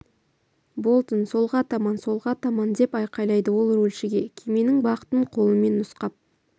болтон солға таман солға таман деп айқайлады ол рульшіге кеменің бағытын қолымен нұсқап